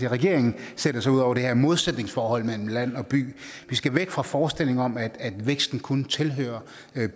at regeringen sætter sig ud over det her modsætningsforhold mellem land og by vi skal væk fra forestillingen om at væksten kun tilhører